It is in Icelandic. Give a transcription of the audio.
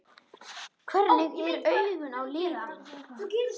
Hvernig eru augun á litinn?